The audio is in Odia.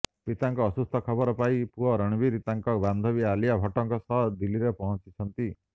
ପିତାଙ୍କ ଅସୁସ୍ଥ ଖବର ପାଇଁ ପୁଅ ରଣବୀର ତାଙ୍କ ବାନ୍ଧବୀ ଆଲିଆ ଭଟ୍ଟଙ୍କ ସହ ଦିଲ୍ଲୀରେ ପହଞ୍ଚିଛନ୍ତି